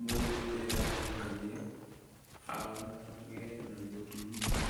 mũndũ ũrĩa ũrahikania agĩe na mũtũmia.